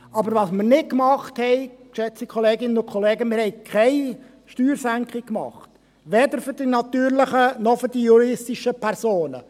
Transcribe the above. Was wir aber nicht gemacht haben, geschätzte Kolleginnen und Kollegen: Wir haben keine Steuersenkung gemacht, weder für die natürlichen noch für die juristischen Personen.